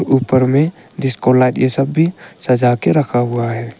ऊपर में disco light ये सब भी सजा के रखा हुआ है।